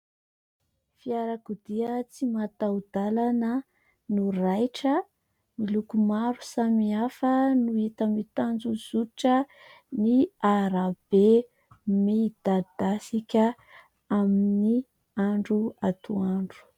Fiarakodia tsy mataho-dalana no raitra miloko maro samihafa no hita mitanjozotra ny arabe midadasika amin'ny andro atoandro.